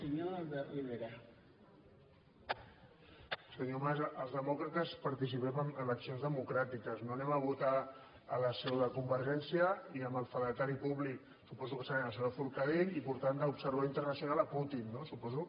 senyor mas els demòcrates participem en eleccions democràtiques no anem a votar a la seu de convergència i amb el fedatari públic suposo que serà la senyora forcadell i portant d’observador internacional putin no suposo